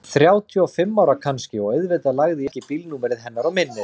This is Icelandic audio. Þrjátíu og fimm ára kannski og auðvitað lagði ég ekki bílnúmerið hennar á minnið.